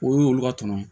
O y'olu ka tɔnɔ